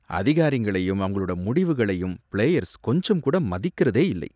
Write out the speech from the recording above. அதிகாரிங்களையும் அவங்களோட முடிவுகளையும் பிளேயர்ஸ் கொஞ்சம் கூட மதிக்குறதே இல்லை.